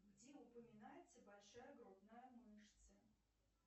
где упоминается большая грудная мышца